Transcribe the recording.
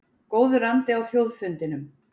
Góður andi á Þjóðfundinum